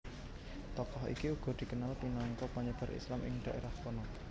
Tokoh iki uga dikenal minangka panyebar Islam ing dhaerah kana